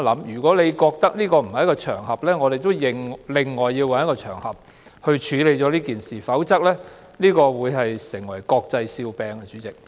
如果你覺得這不是處理這件事的場合，我們要另找一個場合處理，否則這會成為國際笑柄。